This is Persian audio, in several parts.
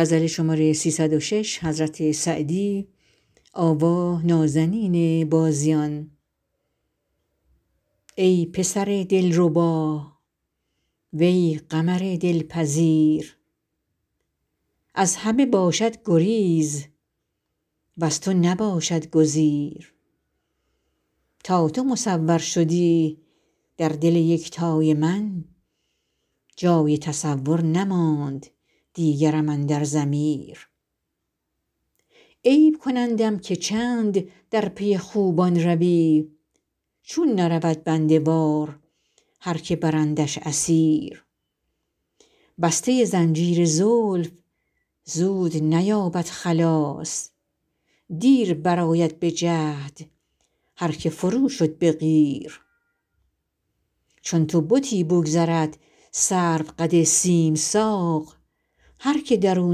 ای پسر دلربا وی قمر دلپذیر از همه باشد گریز وز تو نباشد گزیر تا تو مصور شدی در دل یکتای من جای تصور نماند دیگرم اندر ضمیر عیب کنندم که چند در پی خوبان روی چون نرود بنده وار هر که برندش اسیر بسته زنجیر زلف زود نیابد خلاص دیر برآید به جهد هر که فرو شد به قیر چون تو بتی بگذرد سروقد سیم ساق هر که در او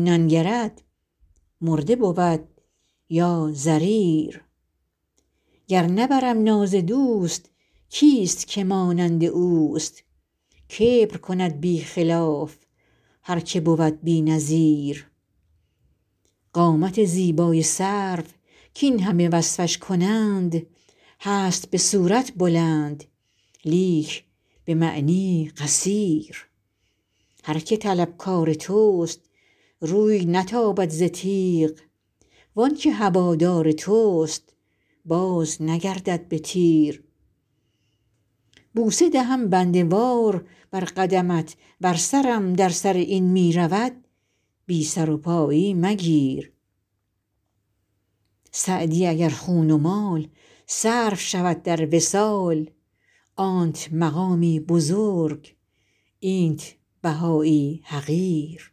ننگرد مرده بود یا ضریر گر نبرم ناز دوست کیست که مانند اوست کبر کند بی خلاف هر که بود بی نظیر قامت زیبای سرو کاین همه وصفش کنند هست به صورت بلند لیک به معنی قصیر هر که طلبکار توست روی نتابد ز تیغ وان که هوادار توست بازنگردد به تیر بوسه دهم بنده وار بر قدمت ور سرم در سر این می رود بی سر و پایی مگیر سعدی اگر خون و مال صرف شود در وصال آنت مقامی بزرگ اینت بهایی حقیر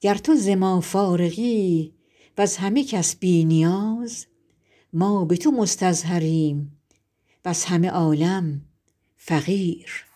گر تو ز ما فارغی وز همه کس بی نیاز ما به تو مستظهریم وز همه عالم فقیر